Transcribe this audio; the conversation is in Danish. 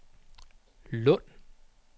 Lund